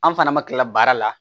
An fana ma kila baara la